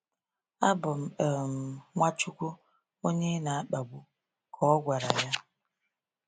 “Abụ m um Nwachukwu, onye ị na-akpagbu,” ka o gwara ya.